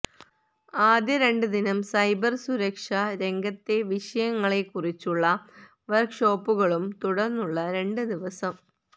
ആദ്യ രണ്ട് ദിനം സൈബര് സുരക്ഷ രംഗത്തെ വിഷയങ്ങളെക്കുറിച്ചുള്ള വര്ക്ക്ഷോപ്പുകളും തുടർന്നുള്ള രണ്ട് ദിവസം